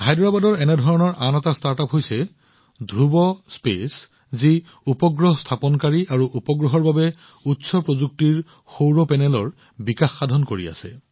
হায়দৰাবাদৰ এনে আন এটা ষ্টাৰ্টআপ ধ্ৰুৱ উপগ্ৰহ স্থাপনকাৰী আৰু উপগ্ৰহৰ বাবে উচ্চ প্ৰযুক্তিৰ সৌৰ পেনেলৰ ওপৰত কাম কৰি আছে